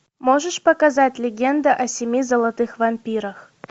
можешь показать легенда о семи золотых вампирах